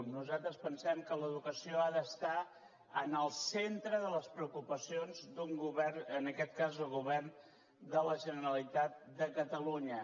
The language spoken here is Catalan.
nosaltres pensem que l’educació ha d’estar en el centre de les preocupacions d’un govern en aquest cas el govern de la generalitat de catalunya